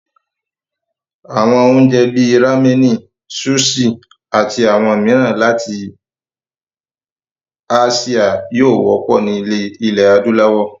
Àwọn oúnjẹ bíi ráménì, súṣì, ati àwọn mìíràn láti áṣíà yóò wọ́pọ̀ ní ilẹ̀ adúláwọ̀.